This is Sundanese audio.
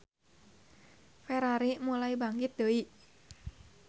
Ferrari mulai bangkit deui.